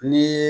Ni